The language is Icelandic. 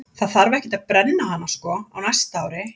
Það þarf ekkert að brenna hana sko á næsta ári.